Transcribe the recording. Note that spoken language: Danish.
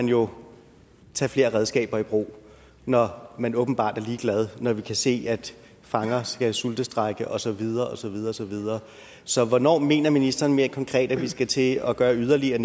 jo tage flere redskaber i brug når man åbenbart er ligeglad når vi kan se at fanger skal sultestrejke og så videre og så videre så videre så hvornår mener ministeren mere konkret at vi skal til at gøre yderligere